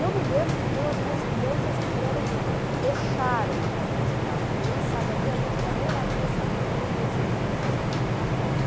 Eu me lembro de duas moça moças que vieram, deixaram na porta de casa, ninguém sabe até hoje, eu adoraria saber quem levou essas moças para casa.